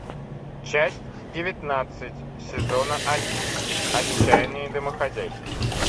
часть девятнадцать сезона один отчаянные домохозяйки